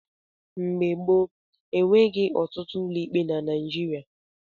Mgbe gbop, enweghị ọtụtụ ụlọikpe na Naijiria.